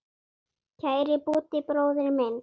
Kæri Búddi bróðir minn.